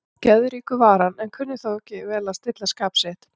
Geðríkur var hann, en kunni þó vel að stilla skap sitt.